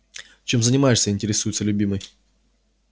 чем занимаешься интересуется любимый